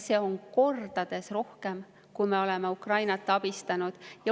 Seda on kordades rohkem sellest, kui palju me oleme Ukrainat abistanud.